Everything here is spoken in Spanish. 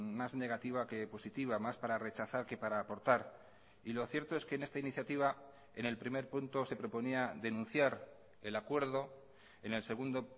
más negativa que positiva más para rechazar que para aportar y lo cierto es que en esta iniciativa en el primer punto se proponía denunciar el acuerdo en el segundo